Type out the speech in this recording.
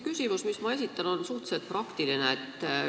Küsimus, mis ma esitan, on suhteliselt praktiline.